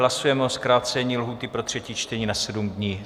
Hlasujeme o zkrácení lhůty pro třetí čtení na sedm dní.